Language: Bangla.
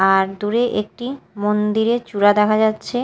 আর দূরে একটি মন্দিরের চূড়া দেখা যাচ্ছে।